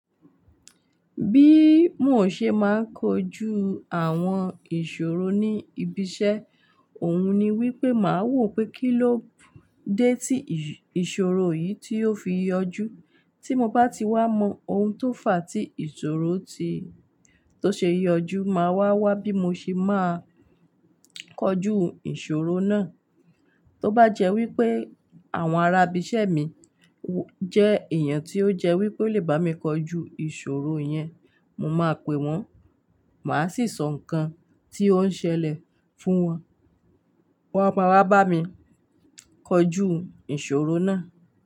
Bí mo ṣe máa kojú àwọn ìṣòro ní ibiṣẹ́, òun ni wípé màá wò pé kíló dé tí ìṣòro yìí tí ó fi yọjú. Tí mo bá ti wá mọ ohun tó fàá tí ìṣòro ti, tó ṣe yọjú máa wà wá bí mo ṣe máa kojú ìṣòro náà. Tóbájẹ́ wípé àwọn arábìṣẹ́ mi jẹ́ èèyàn tí ó jẹ́ wípé ó lè bá mi kojú ìṣòro yẹn, mo máa pe wọn, màá sì sọ nǹkan tí ó ń ṣẹlẹ̀ fún wọn, wọn á máa wá bá mi kojú ìṣòro náà.